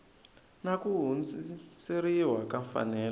na ku hundziseriwa ka mfanelo